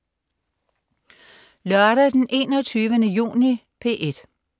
Lørdag den 21. juni - P1: